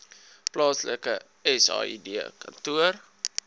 plaaslike said kantoor